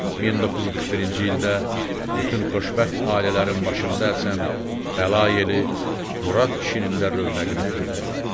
1941-ci ildə bütün xoşbəxt ailələrin başında əsən bəla yeli Murad kişinin də rövnəqini pozdu.